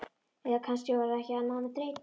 Eða kannski var það ekki annað en þreyta.